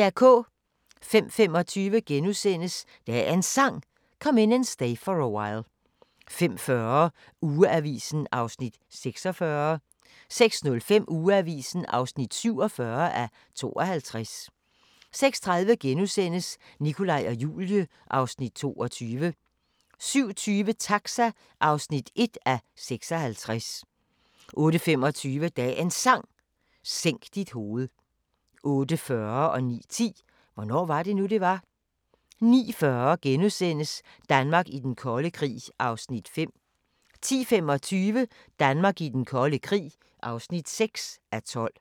05:25: Dagens Sang: Come In And Stay For A While * 05:40: Ugeavisen (46:52) 06:05: Ugeavisen (47:52) 06:30: Nikolaj og Julie (Afs. 22)* 07:20: Taxa (1:56) 08:25: Dagens Sang: Sænk dit hoved 08:40: Hvornår var det nu, det var? * 09:10: Hvornår var det nu, det var? * 09:40: Danmark i den kolde krig (5:12)* 10:25: Danmark i den kolde krig (6:12)